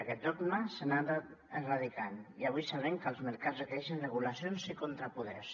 aquest dogma s’ha anat erradicant i avui sabem que els mercats requereixen regulacions i contrapoders